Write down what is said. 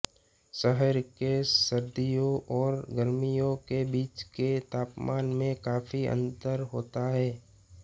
शहर के सर्दियों और गर्मियों के बीच के तापमान में काफी अंतर होता है